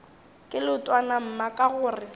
ke leetwana mma ka gore